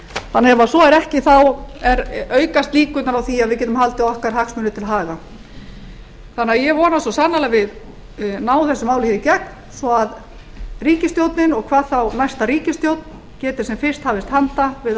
þannig ef svo er ekki þá aukast líkurnar á því að við getum haldið okkar hagsmunum til haga þannig að ég vona svo sannarlega að við náum þessu máli hér í gegn svo að ríkisstjórnin og hvað þá næsta ríkisstjórn geti sem fyrst hafist handa við að